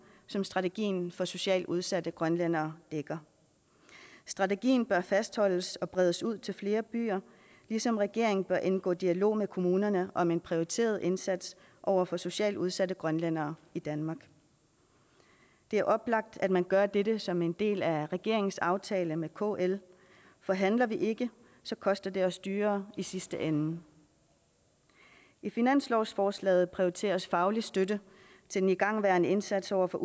som strategien for socialt udsatte grønlændere dækker strategien bør fastholdes og bredes ud til flere byer ligesom regeringen bør indgå i dialog med kommunerne om en prioriteret indsats over for socialt udsatte grønlændere i danmark det er oplagt at man gør dette som en del af regeringens aftale med kl for handler vi ikke koster det os dyrere i sidste ende i finanslovsforslaget prioriteres faglig støtte til den igangværende indsats over for